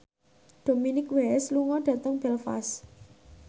Dominic West lunga dhateng Belfast